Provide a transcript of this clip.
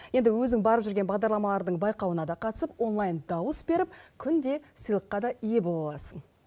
енді өзің барып жүрген бағдарламалардың байқауына да қатысып онлайн дауыс беріп күнде сыйлыққа да ие бола аласың